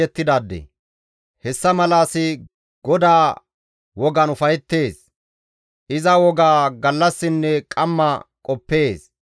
Hessa mala asi GODAA wogan ufayettees; iza wogaa gallassinne qamma qoppees.